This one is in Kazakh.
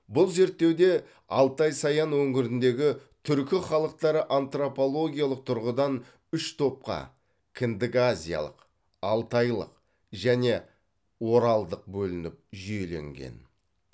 бұл зерттеуде алтай саян өңіріндегі түркі халықтары антропологиялық тұрғыдан үш топқа кіндіказиялық алтайлық және оралдық бөлініп жүйеленген